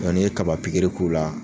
Nga n'i ye kaba pikiri k'u la.